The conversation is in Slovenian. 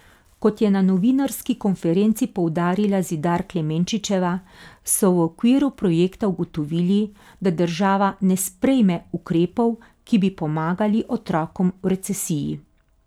Kot je na novinarski konferenci poudarila Zidar Klemenčičeva, so v okviru projekta ugotovili, da država ne sprejme ukrepov, ki bi pomagali otrokom v recesiji.